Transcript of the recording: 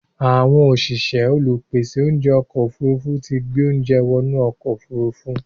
Àwọn òṣìṣẹ́ olùpèsè oúnjẹ ọkọ̀ òfurufú tí gbé oúnjẹ wọ inú ọkọ̀ òfurufú.